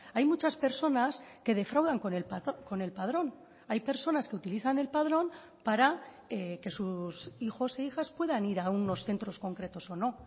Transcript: hay muchas personas que defraudan con el padrón hay personas que utilizan el padrón para que sus hijos e hijas puedan ir a unos centros concretos o no